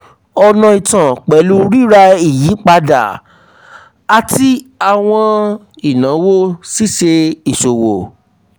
ọ̀nà itan pẹlu apapọ rira ìyípadà ati àwọn inawo ṣíṣe ìṣòwò.